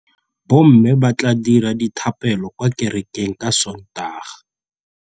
Bommê ba tla dira dithapêlô kwa kerekeng ka Sontaga.